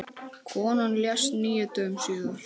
Konan lést níu dögum síðar.